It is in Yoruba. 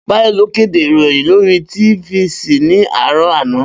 Bayo ló kèdè iróyin lòri tìfisí ni àárò àná